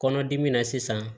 Kɔnɔdimi na sisan